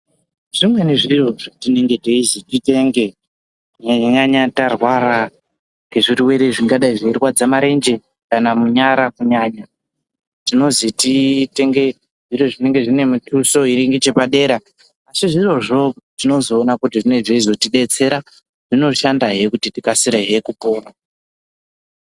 Zvimweni zviro zvetinenge teizi titenge kunyanya-nyanya tarwara ngezvirwere zvingadai zveirwadza marenje, kana munyara kunyanya. Tinozi titenge zviro zvinenge zvine mituso iri ngechepadera-dera asi zvirozvo tinozoona kuti zvinge zveizotibetsera zvinoshandahe kuti tikasire kupora.